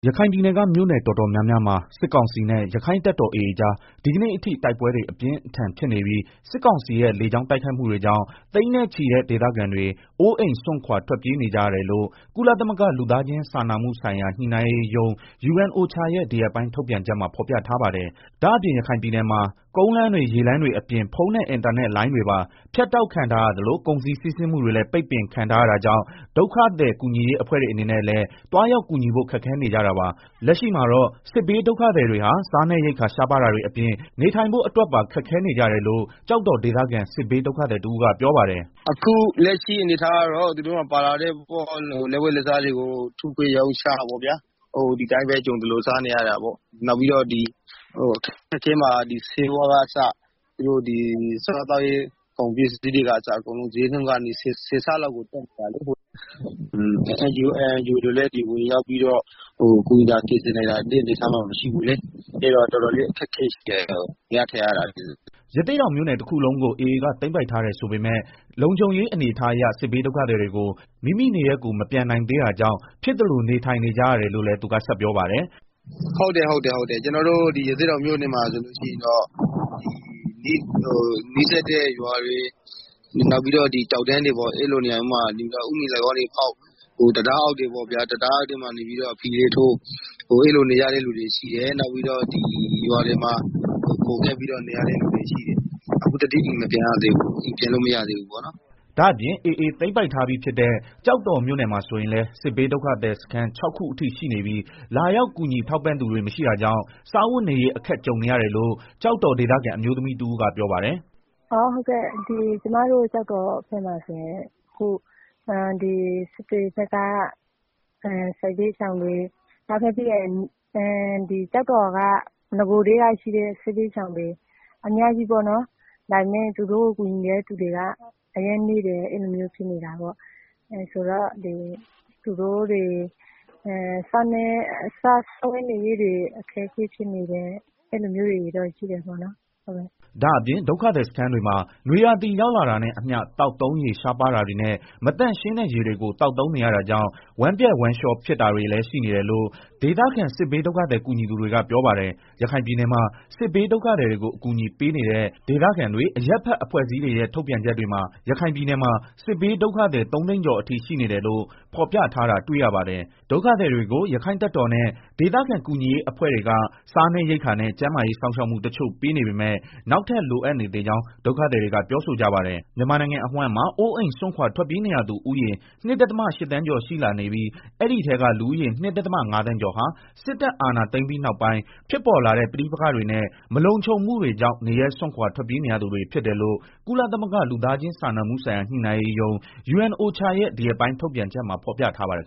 ရခိုင်ပြည်နယ်ကမြို့နယ် တော်တော်များများမှာ စစ်ကောင်စီနဲ့ ရက္ခိုင့်တပ်တော် AA အကြား ဒီကနေ့အထိ တိုက်ပွဲတွေ ပြင်းထန်နေပြီး စစ်ကောင်စီရဲ့ လေကြောင်း တိုက်ခိုက်မှု တွေကြောင့် သိန်းနဲ့ချီတဲ့ ဒေသခံတွေ အိုးအိမ်စွန့်ခွာထွက်ပြေးနေကြ ရတယ်လို့ ကုလသမဂ္ဂ လူသားချင်းစာနာမှုဆိုင်ရာ ညှိနှိုင်းရေးရုံး UNOCHA ရဲ့ ဒီရက်ပိုင်း ထုတ်ပြန်ချက်မှာ ဖော်ပြထားပါတယ်။ ဒါ့အပြင် ရခိုင်ပြည်နယ်မှာ ကုန်လမ်းတွေ ရေလမ်းတွေအပြင် ဖုန်းနဲ့ အင်တာနက်လိုင်းတွေပါ ဖြတ်တောက်ခံထားရသလို ကုန်စည်စီးဆင်းမှုတွေလည်း ပိတ်ပင်ခံထားရတာကြောင့် ဒုက္ခသည်ကူညီရေး အဖွဲ့တွေအနေနဲ့လည်း သွားရောက်ကူညီဖို့ ခက်ခဲနေကြတာပါ။ လက်ရှိမှာတော့ စစ်ဘေးဒုက္ခသည် တွေဟာ စားနပ်ရိက္ခာရှားပါးတာတွေ အပြင် နေထိုင်ဖို့ အတွက်ပါ ခက်ခဲနေကြတယ်လို့ ကျောက်တော်ဒေသခံ စစ်ဘေး ဒုက္ခသည် တဦးကပြော ပါတယ်။ “ အခုလက်ရှိအနေအထားကတော့ သူတို့မှာ ပါလာတဲ့ လက်ဝတ်လက်သားတွေ ထုခွဲရောင်းချပေါ့ဗျာ၊ ဒီအတိုင်းပဲ ကြုံသလိုစားနေရတယ်၊ နောက်ပြီးတော့ camp ထဲမှာ ဆေးဝါးက အစ စားသောက်ရေး ကုန်ပစ္စည်းတွေကအစ စျေနှုန်းက ဆယ်ဆလောက်ကို တက်နေတာလေ။ အခုလက်ရှိက ငတ်တလှည့် ပြတ်တလှည့်ပေါ့ဗျာ ကြုံသလို စားနေရတယ်၊ NGO၊ INGOတွေ လည်း ဝင်ရောက်ကူညီတာ ကယ်ဆယ်နိုင်တဲ့ အနေအထားမှာမရှိဘူးလေ၊ အဲဒီတော့ တော်တော်လည်း အခက်အခဲရှိတယ် နေရထိုင်ရတာ စားရတာကအစ။” ရသေ့တောင်မြို့နယ်တခုလုံးကို AAက သိမ်းပိုက်ထားတယ်ဆိုပေမဲ့ လုံခြုံရေးအနေအထားအရ စစ်ဘေးဒုက္ခသည်တွေကို မိမိနေရပ်ကို မပြန်နိုင်သေးတာကြောင့် ဖြစ်သလို နေထိုင်နေကြရတယ်လို့လည်း သူကဆက်ပြောပါတယ်။ “ ကျနော်တို့ရသေ့တောင် မြို့နယ်မှာဆိုရင်တော့ နီးစပ်တဲ့ ရွာတွေ နောက်ပြီးတော့ တောင်တန်းတွေပေါ်မှာ ဥမင်လှိုင်ခေါင်းတွေ တူး၊ တံတားအောက်တွေမှာ တဲလေးထိုး အဲလိုနေရတဲ့ လူတွေရှိတယ်၊နောက်ပြီးတော့ ရွာတွေမှာ ခိုကပ်ပြီးနေရတဲ့သူတွေရှိတယ်။ အခုထက်အိ အိမ်ပြန်လို့မရသေးဘူး။” ဒါ့အပြင် AAသိမ်းပိုက်ထားပြီးဖြစ်တဲ့ ကျောက်တော်မြို့နယ်မှာဆိုရင်လည်း စစ်ဘေးဒုက္ခသည်စခန်း ၆ ခုအထိ ရှိနေပြီး လာရောက်ကူညီထောက်ပံ့သူတွေမရှိတာကြောင့် စားဝတ်နေရေးအခက်ကြုံနေရတယ်လို့ ကျောက်တော်ဒေသခံ အမျိုးသမီးတဦး ကပြောပါတယ်။ “ ကျမတို့ ကျောက်တော်မြို့နယ်မှာဆိုရင် အခု စစ်တွေဘက် စစ်ဘေးဒုက္ခသည်တွေ၊ ပြီးတော့ နောက်ထပ် ကျောက်တော်မှာ နဂိုကတည်းက ရှိနေတဲ့ စစ်ဘေးဒုက္ခသည်တွေ၊ အများကြီး ပဲပေါ့နော် ဒါပေမယ့် သူတို့ကို ကူညီတဲ့ သူတွေက အရမ်းနည်းတယ် အဲလို မျိုးဖြစ်နေတာပေါ့၊ ဆိုတော့ သူတို့မှာ စားဝတ်နေရေးတွေ အဆင်မပြေကြတာတွေ့ရတယ်။” ဒါ့အပြင် ဒုက္ခသည်စခန်းတွေမှာ နွေရာသီရောက်လာတာနဲ့အမျှ သောက်သုံးရေရှားပါး တာတွေနဲ့ မသန့်ရှင်းတဲ့ရေတွေကို သောက်သုံးနေရတာကြောင့် ဝမ်းပျက်ဝမ်းလျောဖြစ် တာတွေလည်းရှိနေတယ်လို့ ဒေသခံစစ်ဘေးဒုက္ခသည် ကူညီသူတွေကပြောပါတယ်။ ရခိုင်ပြည်နယ်မှာ စစ်ဘေးဒုက္ခသည်တွေကို အကူအညီပေးနေတဲ့ ဒေသခံတွေအရပ် ဘက် အဖွဲ့အစည်းတွေရဲ့ ထုတ်ပြန်ချက်တွေမှာ ရခိုင်ပြည်နယ်မှာ စစ်ဘေးဒုက္ခသည် ၃သိန်း ကျော်အထိရှိနေတယ်လို့ ဖော်ပြထားတာတွေ့ရပါတယ်။ ဒုက္ခသည်တွေကို ရက္ခိုင့်တပ် တော်နဲ့ ဒေသခံကူညီရေးအဖွဲ့တွေက စားနပ်ရိက္ခာနဲ့ ကျန်းမာရေးစောင့် ရှောက်မှု တချို့ ပေးနေပေမဲ့ နောက်ထပ် လိုအပ်နေသေးကြောင်း ဒုက္ခသည်တွေက ပြောဆိုကြပါတယ်။ မြန်မာနို်င်ငံအဝှမ်းမှာ အိိုးစွန့်ခွာထွက်ပြေးနေရသူဦးရေ ၂.၈ သန်းကျော်ရှိလာနေပြီး အဲဒီထဲက လူဦးရေ ၂ဒသမ ၅သန်းကျော်ဟာ စစ်တပ်အာဏာသိမ်းပြီးနောက်ပိုင်း ဖြစ်ပေါ် လာတဲ့ ပဋိပက္ခတွေနဲ့ မလုံခြုံမှုတွေကြောင့် နေရပ်စွန့်ခွာထွက်ပြေးရသူတွေဖြစ်တယ်လို့ ကုလသမဂ္ဂ လူသားချင်းစာနာမှုဆို်င်ရာ ညှိနှိုင်းရေးရုံး ရဲ့ ဒီရက်ပိုင်းထုတ်ပြန် ချက်မှာ ဖော်ပြထားပါတယ်